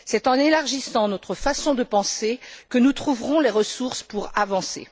C'est en élargissant notre façon de penser que nous trouverons les ressources pour avancer.